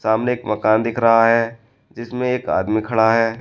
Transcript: सामने एक मकान दिख रहा है जिसमें एक आदमी खड़ा है।